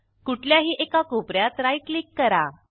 कुठल्याही एका कोप यात राईट क्लिक करा